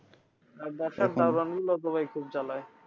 আর তো ভাই খুব জ্বালায়